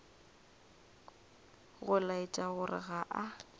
go laetša gore ga a